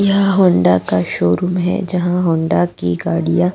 यह हौंडा का शोरूम है जहाँ हौंडा की गाड़ियाँ --